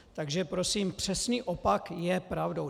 Takže prosím, přesný opak je pravdou!